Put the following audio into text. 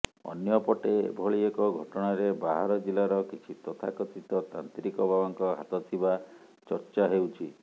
ଅନ୍ୟପଟେ ଏଭଳି ଏକ ଘଟଣାରେ ବାହାର ଜିଲ୍ଲାର କିଛି ତଥାକଥିତ ତାନ୍ତ୍ରିକ ବାବାଙ୍କ ହାତଥିବା ଚର୍ଚ୍ଚା ହେଉଛି